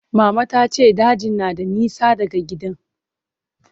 Mama ta ce dajin na da nisa daga gidan.